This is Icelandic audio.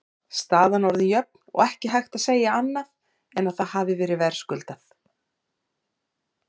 Staðan orðin jöfn og ekki hægt að segja annað en að það hafi verið verðskuldað.